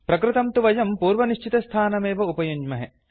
प्रकृतं तु वयं पूर्वनिश्चितस्थानमेव उपयुञ्ज्महे